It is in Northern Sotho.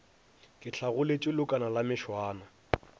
ke hlagoletše leokana la mešwana